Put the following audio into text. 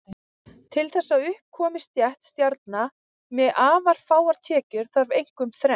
Til þess að upp komi stétt stjarna með afar háar tekjur þarf einkum þrennt.